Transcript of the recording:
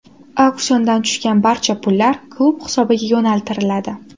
Auksiondan tushgan barcha pullar klub hisobiga yo‘naltiriladi.